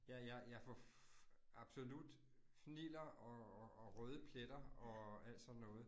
Jeg jeg jeg får absolut fniller og og og røde pletter og alt sådan noget